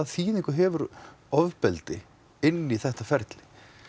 þýðingu hefur ofbeldi inn í þetta ferli